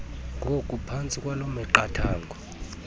ngokuphantsi kwaloo miqathango